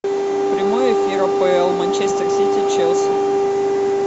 прямой эфир апл манчестер сити челси